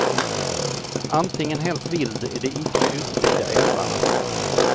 Antingen helt vild i de icke utbyggda älvarna.